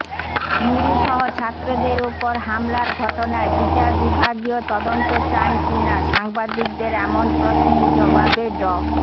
নুরুসহ ছাত্রদের ওপর হামলার ঘটনায় বিচার বিভাগীয় তদন্ত চান কিনা সাংবাদিকদের এমন প্রশ্নের জবাবে ড